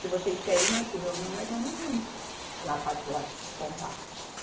Se vocês querem ir, nós se reúnem, nós vamos junto lá pa, lá descontar.